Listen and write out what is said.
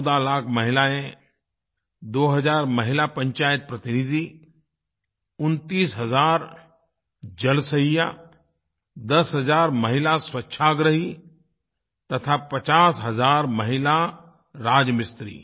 14 लाख महिलाएँ 2 हजार महिला पंचायत प्रतिनिधि 29 हजार जलसहिया 10 हज़ार महिला स्वच्छाग्रही तथा 50 हजार महिला राज मिस्त्री